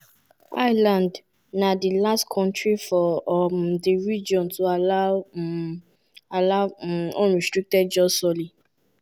ireland na di last kontri for um di region to allow um allow um unrestricted jus soli.